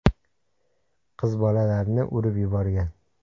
(qiz bola)larni urib yuborgan.